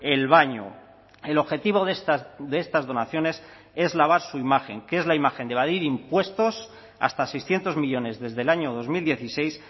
el baño el objetivo de estas donaciones es lavar su imagen que es la imagen de evadir impuestos hasta seiscientos millónes desde el año dos mil dieciséis